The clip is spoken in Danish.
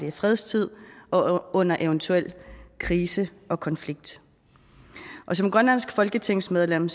i fredstid og under eventuel krise og konflikt som grønlandsk folketingsmedlem